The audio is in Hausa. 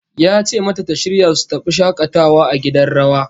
Ya ce mata ta shirya su tafi shakatawa a gidan rawa